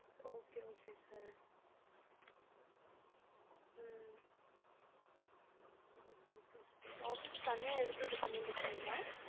okay okay sir hmm okay okay sir office தனியா எடுத்து இது பண்ணீட்டு இருக்கீங்களா,